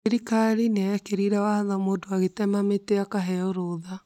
Thiikari nĩyekĩrie watho mũndũ agĩtema mĩtĩ akaheo rũtha